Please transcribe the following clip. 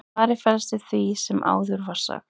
svarið felst í því sem áður var sagt